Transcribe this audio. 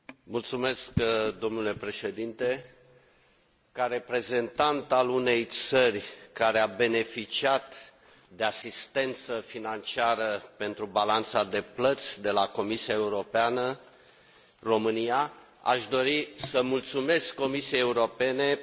Ca reprezentant al unei țări care a beneficiat de asistență financiară pentru balanța de plăți de la Comisia Europeană, România, aș dori să mulțumesc Comisiei Europene pentru rapiditatea cu care a acționat